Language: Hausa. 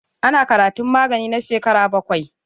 Ana karatun magani na shekara bakwai.